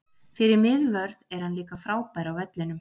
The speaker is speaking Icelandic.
Fyrir miðvörð er hann líka frábær á vellinum.